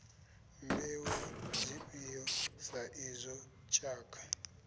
mbeu dzifhio sa izwo tshakha